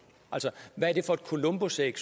altså hvad er det for et columbusæg